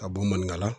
Ka bɔn maninkala